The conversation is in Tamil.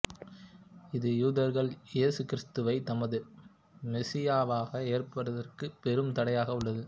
இது யூதர்கள் இயேசு கிறித்துவைத் தமது மெசியாவாக ஏற்பதற்குப் பெரும் தடையாக உள்ளது